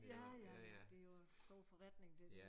Ja ja ja det jo stor forretning det